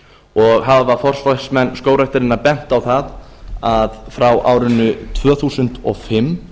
og hafa forsvarsmenn skógræktarinnar bent á það að frá árinu tvö þúsund og fimm